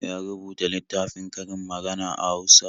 Ya rubuta littafin karin magana a Hausa.